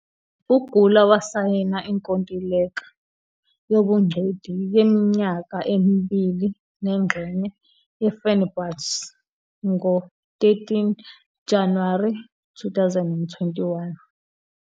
UUGüler wasayina inkontileka yobungcweti yeminyaka emibili nengxenye ne-Fenerbahçe ngo-13 January 2021.